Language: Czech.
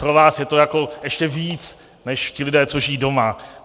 Pro vás je to jako ještě víc než ti lidé, co žijí doma.